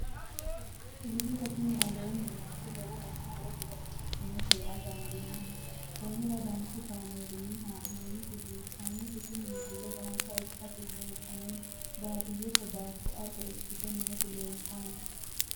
misile tini aleenni nooti lowo horonna lowo tiro afidhinote yaa dandiinanni konnira danchu kaameerinni haa'noonnite biiffannote tini misile dancha ikkase buunxanni baadiyyete baatto arro ikkite nooti leeltanni nooe